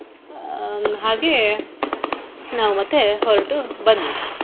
ಹ್ಮ್ ಹಾಗೆ ನಾವು ಮತ್ತೆ ಹೊರಟು ಬಂದ್ವಿ.